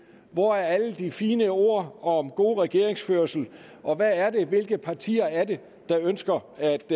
hvor er alle de fine ord om god regeringsførelse og hvilke partier er det der ønsker